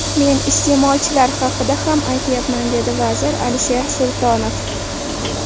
Men iste’molchilar haqida ham aytyapman”, dedi vazir Alisher Sultonov.